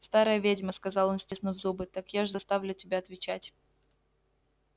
старая ведьма сказал он стиснув зубы так я ж заставлю тебя отвечать